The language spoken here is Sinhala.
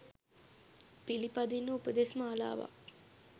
පිළිපදින්න උපදෙස් මාලාවක්